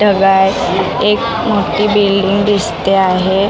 ढगाळ एक मोठी बिल्डिंग दिसते आहे.